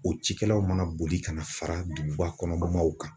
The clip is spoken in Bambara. O cikɛlaw mana boli ka na fara duguba kɔnɔmaw kan